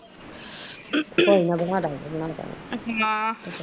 ਮਾਂ ਕੋਈ ਨਾ ਦਿਖਦਾ ਗਏ ਤੈਨੂੰ ਰੌਣਕਾ